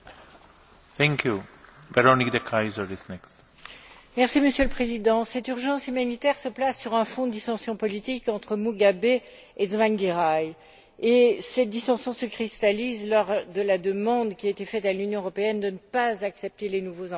Monsieur le Président, cette urgence humanitaire se place sur un fond de dissension politique entre Mugabe et Tsvangirai, et cette dissension se cristallise autour de la demande qui a été faite à l'Union européenne de ne pas accepter les nouveaux ambassadeurs ayant été nommés unilatéralement par Mugabe.